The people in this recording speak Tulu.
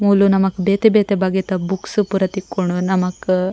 ಮೂಲು ನಮಕ್ ಬೇತೆ ಬೇತೆ ಬಗೆತ ಬುಕ್ಸ್ ಪೂರ ತಿಕ್ಕುಂಡು ನಮಕ್ --